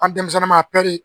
An denmisɛnnin ma a